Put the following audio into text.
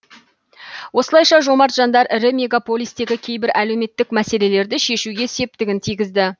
осылайша жомарт жандар ірі мегаполистегі кейбір әлеуметтік мәселелерді шешуге септігін тигізді